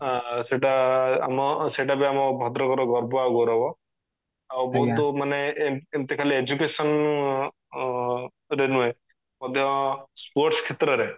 ଆ ଆ ସେଟା ବି ଆମ ସେଟା ବି ଆମ ଭଦ୍ରକ ର ଗର୍ବ ଆଉ ଗୌରବ ଆଉ ବହୁତ ମାନେ ଏମିତି ଖାଲି education ଅ ରେ ନୁହେଁ ମଧ୍ୟ sports କ୍ଷେତ୍ରରେ